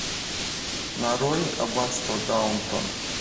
нарой аббатство даунтон